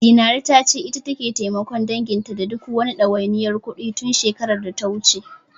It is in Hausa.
Zinaru ta ce, ita take taimakon danginta da duk wani ɗawainiyar kuɗi, tun shekarar data wuce.